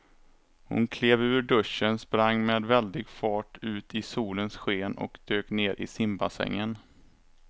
Hon klev ur duschen, sprang med väldig fart ut i solens sken och dök ner i simbassängen.